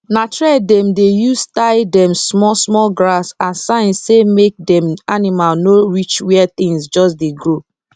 na thread dem dey use tie dem small small grass as sign say make dem animal no reach where things just dey grow